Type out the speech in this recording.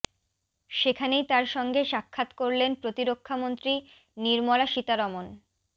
সেখানেই তাঁর সঙ্গে সাক্ষাৎ করলেন প্রতিরক্ষামন্ত্রী নির্মলা সীতারমণ